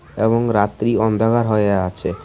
এবং রাত্রি অন্ধকার হয়ে আছে।